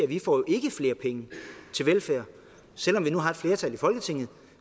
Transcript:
vi får jo ikke flere penge til velfærd selv om vi nu har et flertal i folketinget